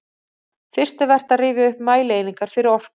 Fyrst er vert að rifja upp mælieiningar fyrir orku.